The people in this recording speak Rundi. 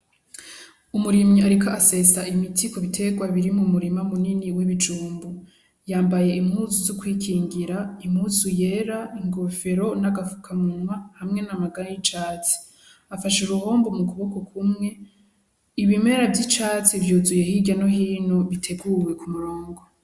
Umurimyi ariko asesa imiti kubutegwa biri mumurima munini w'ibijumbu. Yambaye impuzu z'ukwikingira, impuzu yera, inkofero, n'agafukamunwa hamwe n'amaga y'icatsi. Afashe uruhombo mu kuboko kumwe. Ibimera vy'icatsi vyuzuye hirya no hino biteguwe kumurongo.